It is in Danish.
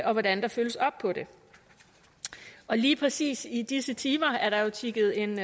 og hvordan der følges op på det lige præcis i disse timer er der jo tikket en